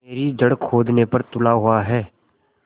मेरी जड़ खोदने पर तुला हुआ है